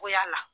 Ko yala